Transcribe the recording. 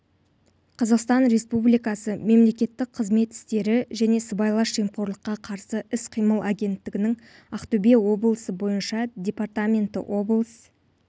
қазақстан республикасы мемлекеттік қызмет істері және сыбайлас жемқорлыққа қарсы іс-қимыл агенттігінің ақтөбе облысы бойынша департаменті облыс